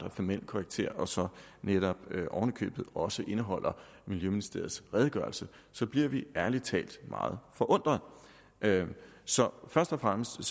af formel karakter og så netop oven i købet også indeholder miljøministeriets redegørelse så bliver vi ærlig talt meget forundret så først og fremmest